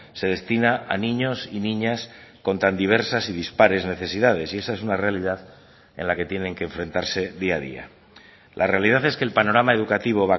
se destina a niños y niñas con tan diversas y dispares necesidades y esa es una realidad en la que tienen que enfrentarse día a día la realidad es que el panorama educativo